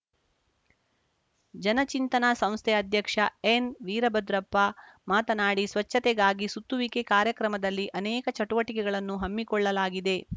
ಜನಚಿಂತನ ಸಂಸ್ಥೆ ಅಧ್ಯಕ್ಷ ಎನ್‌ವೀರಭದ್ರಪ್ಪ ಮಾತನಾಡಿ ಸ್ವಚ್ಚತೆಗಾಗಿ ಸುತ್ತುವಿಕೆ ಕಾರ್ಯಕ್ರಮದಲ್ಲಿ ಅನೇಕ ಚಟುವಟಿಕೆಗಳನ್ನು ಹಮ್ಮಿಕೊಳ್ಳಲಾಗಿದೆ